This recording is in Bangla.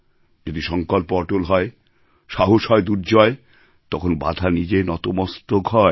যদি সংকল্প অটল হয় সাহস হয় দুর্জয় তখন বাধা নিজে নতমস্তক হয়